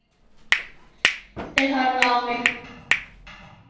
Þau horfa á mig.